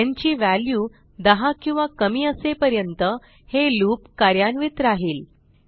न् ची व्हॅल्यू 10 किंवा कमी असेपर्यंत हे लूप कार्यान्वित राहील